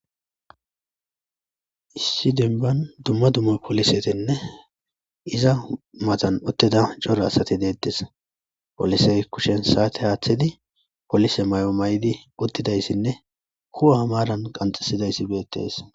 Issi denban dumma dumma polisetenne iza mazan utteda cora asati deettes polisey kushen saate haaththidi polise may7o may7idi uttidayssinne kuwa hamaran qanxisidayssi beettees